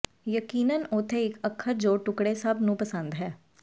ਯਕੀਨਨ ਉੱਥੇ ਇੱਕ ਅੱਖਰ ਜੋ ਟੁਕਡ਼ੇ ਸਭ ਨੂੰ ਪਸੰਦ ਹੈ